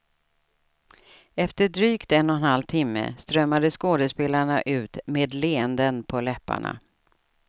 Efter drygt en och en halv timme strömmade skådespelarna ut med leenden på läpparna.